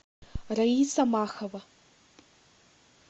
раиса махова